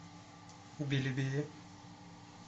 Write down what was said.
белебея